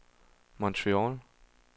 Montreal